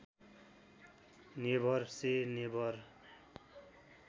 never से never